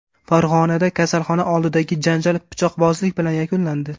Farg‘onada kasalxona oldidagi janjal pichoqbozlik bilan yakunlandi.